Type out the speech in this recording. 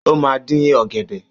Ó máa dín ọ̀gẹ̀dẹ̀